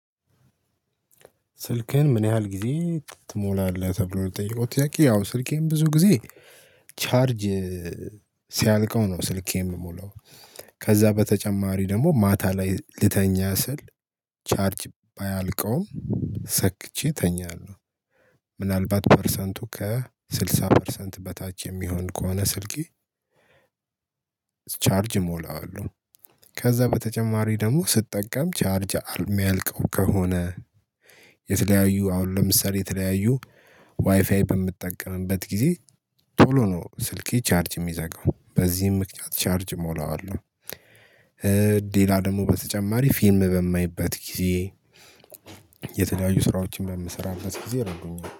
ስልክህን ምን ያህል ጊዜ ትሞላለህ ተብሎ ነው የተጠየቀው ጥያቄ? ያው ስልኬን ብዙ ጊዜ ቻርጅ ሲያልቀው ነው ስልክ የምሞላው። ከዛ በተጨማሪ ደግሞ ማታ ላይ ልተኛ ስል ቻርጅ ባያልቀውም ሰክቼ እተኛለሁ። ምናልባት ፐርሰንቱ ከስልሳ ፐርሰንት በታች የሚሆን ከሆነ ስልኬ ቻርጅ እሞላዋለሁ። ከዛ በተጨማሪ ደግሞ ስጠቀም ቻርጅ አሚያልቀው ከሆነ የተለያዩ አሁን ለምሳሌ የተለያዩ ዋይፋይ በምጠቀምበት ጊዜ ቶሎ ነው ስልኬ ቻርጅ የሚዘጋው በዚህም ምክንያት ቻርጅ እሞላዋለሁ። ሌላ ደግሞ በተጨማሪ ፊልም በማይበት ጊዜ የተለያዩ ስራዎችን በምሰራበት ጊዜ አደርገዋለሁ